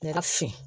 Ne ka fin